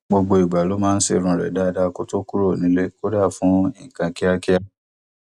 gbogbo ìgbà ló máa ń ṣe irun rẹ dáadáa kó tó kúrò nílé kódà fún nǹkan kíákíá